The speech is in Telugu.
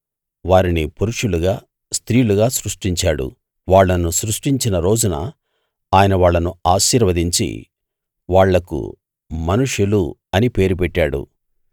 వారిని పురుషులుగా స్త్రీలుగా సృష్టించాడు వాళ్ళను సృష్టించిన రోజున ఆయన వాళ్ళను ఆశీర్వదించి వాళ్లకు మనుషులు అని పేరు పెట్టాడు